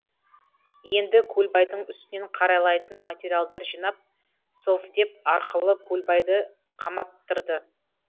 енді көлбайдың үстінен қаралайтын материалдар жинап совдеп арқылы көлбайды қаматтырды